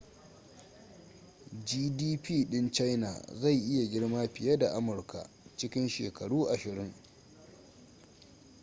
gdp ɗin china zai iya girma fiye da amurka cikin shekaru ashirin